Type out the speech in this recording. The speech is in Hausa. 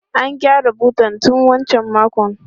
An gyara butan tun wancan makon.